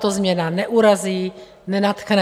Tato změna neurazí, nenadchne.